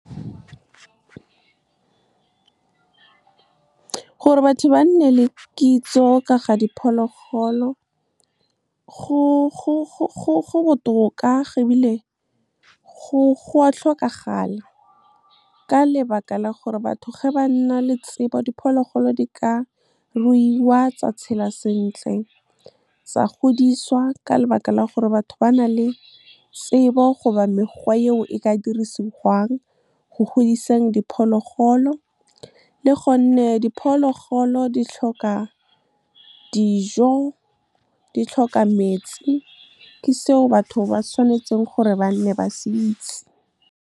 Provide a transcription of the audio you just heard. Gore batho ba nne le kitso ka ga diphologolo, go botoka go bile go a tlhokagala ka lebaka la gore batho ge ba nna le tsebo, diphologolo di ka ruiwa tsa tshela sentle, tsa godiswa ka lebaka la gore batho ba na le tsebo goba mekgwa e o e ka dirisiwang go godiseng diphologolo, le gonne diphologolo di tlhoka dijo, di tlhoka metsi, ke seo batho ba tshwanetseng gore ba nne ba se itse. Gore batho ba nne le kitso ka ga diphologolo, go botoka go bile go a tlhokagala ka lebaka la gore batho ge ba nna le tsebo, diphologolo di ka ruiwa tsa tshela sentle, tsa godiswa ka lebaka la gore batho ba na le tsebo goba mekgwa e o e ka dirisiwang go godiseng diphologolo, le gonne diphologolo di tlhoka dijo, di tlhoka metsi, ke seo batho ba tshwanetseng gore ba nne ba se itse.